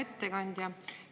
Hea ettekandja!